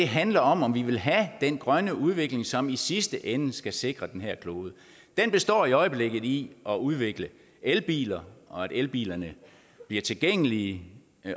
handler om om vi vil have den grønne udvikling som i sidste ende skal sikre den her klode den består i øjeblikket i at udvikle elbiler og at elbilerne bliver tilgængelige